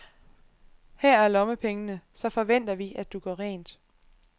Her er lommepengene, så forventer vi, at du gør rent.